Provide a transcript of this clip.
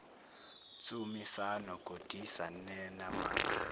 tsumisano godisa nenamac